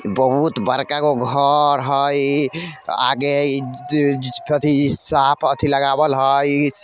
बहुत बड़का गो घर हई आगे इ ज अ अथी साफ अथी लगावाल हई।